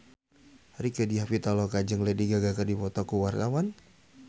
Rieke Diah Pitaloka jeung Lady Gaga keur dipoto ku wartawan